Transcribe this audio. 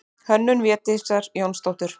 Hönnun Védísar Jónsdóttur.